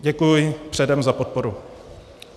Děkuji předem za podporu.